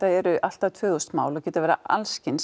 eru allt að tvö þúsund mál og geta verið